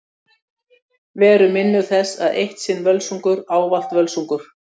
Verum minnug þess að Eitt sinn Völsungur ávallt Völsungur.